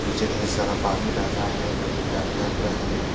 नीचे ढेर सारा पानी बह रहा है जो पीला कलर का है ।